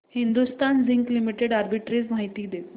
Hindustan zinc limited arbitrage माहिती दे